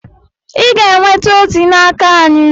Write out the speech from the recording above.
Ị ga-enweta ozi n'aka anyị